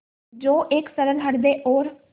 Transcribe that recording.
जो एक सरल हृदय और